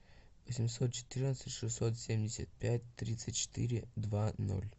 восемьсот четырнадцать шестьсот семьдесят пять тридцать четыре два ноль